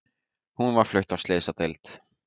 Hún var flutt á slysadeild